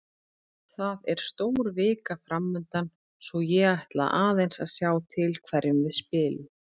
Það er stór vika framundan svo ég ætla aðeins að sjá til hverjum við spilum.